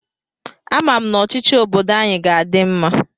Ama m na ọchịchị obodo anyị ga-adị mma.